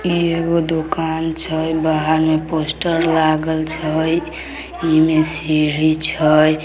इ एगो दुकान छे बाहर में पोस्टर लागल छे इमें सीढ़ी छे।